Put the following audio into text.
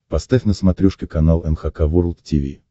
поставь на смотрешке канал эн эйч кей волд ти ви